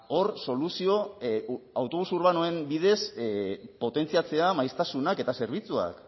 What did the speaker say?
hor soluzio autobus urbanoen bidez potentziatzea maiztasuna eta zerbitzuak